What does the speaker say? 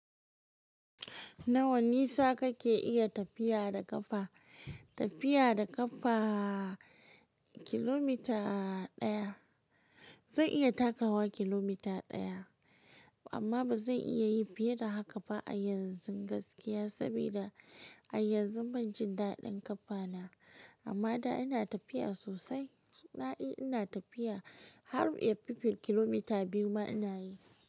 Nawa nisa kake iya tafiya da ƙafa? Tafiya da ƙafa kilomita ɗaya. Zan iya takawa kilomita ɗaya, amma ba zan iya yi fiye da haka ba a yanzun gaskiya, saboda a yanzu ban jin daɗin ƙafana. Amma da ina tafiya sosai, da ina tafiya har yafi kilomita biyu ma ina yi.